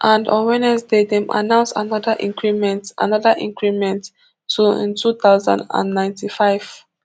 and on wednesday dem announce anoda increment anoda increment to ntwo thousand and ninety-five